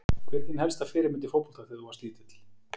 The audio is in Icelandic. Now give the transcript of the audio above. Hver var þín helsta fyrirmynd í fótbolta þegar þú varst lítill?